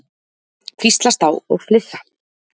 Hvíslast á og flissa.